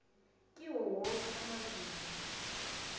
kiwo woke amazinga